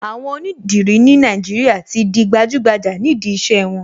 Àwọn onídìrí ní Nàìjíríà tí di gbajúgbajà nídìí iṣẹ́ wọn.